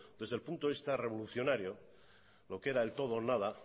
desde el punto de vista revolucionario lo que era el todo o nada